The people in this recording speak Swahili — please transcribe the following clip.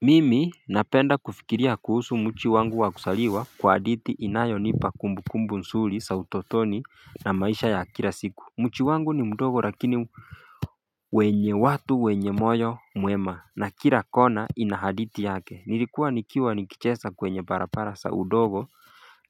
Mimi napenda kufikiria kuhusu mji wangu wakuzaliwa kwa hadithi inayonipa kumbukumbu nzuri za utotoni na maisha ya kila siku mji wangu ni mdogo lakini wenye watu wenye moyo mwema na kila kona inahadithi yake nilikuwa nikiwa nikicheza kwenye barabara za udogo